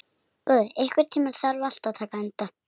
Góði, einhvern tímann þarf allt að taka enda.